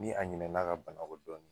Ni a ɲinɛn'a ka bana kɔ dɔɔni